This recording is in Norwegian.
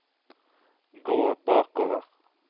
gå bakover